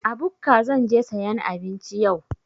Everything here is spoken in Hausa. A bukka zan je sayan abinci yau.